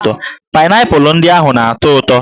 Paịnaịpụlụ ndị ahụ na-atọ ụtọ